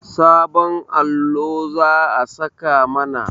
Sabon allo za a saka mana